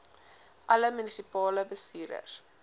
alle munisipale bestuurders